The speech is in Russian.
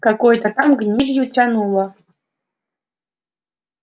какой-то там гнилью тянуло